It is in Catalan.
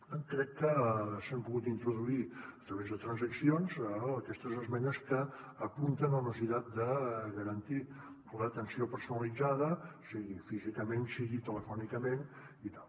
per tant crec que s’han pogut introduir a través de transaccions aquestes esmenes que apunten a una necessitat de garantir l’atenció personalitzada sigui físicament sigui telefònicament i tal